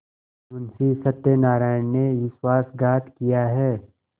मुंशी सत्यनारायण ने विश्वासघात किया है